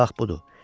Bax budur.